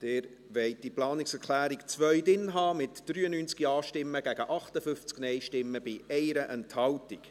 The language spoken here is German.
Sie wollen diese Planungserklärung 2 im Bericht haben, mit 93 Ja- gegen 58 NeinStimmen bei 1 Enthaltung.